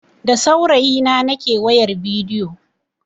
Da saurayi na nake wayan bidiyo.